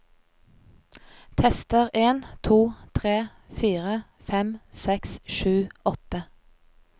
Tester en to tre fire fem seks sju åtte